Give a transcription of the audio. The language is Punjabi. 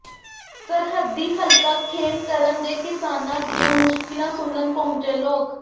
ਸਰਹੱਦੀ ਹਲਕਾ ਖੇਮਕਰਨ ਦੇ ਕਿਸਾਨਾਂ ਦੀਆਂ ਮੁਸ਼ਕਿਲਾਂ ਸੁਣਨ ਪਹੰੁਚੇਂ ਲੋਕ